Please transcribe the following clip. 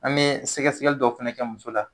An be sɛkɛsɛkɛli dɔ fɛnɛ kɛ muso la.